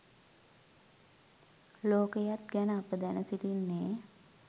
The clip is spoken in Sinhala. ලෝකයත් ගැන අප දැන සිටින්නේ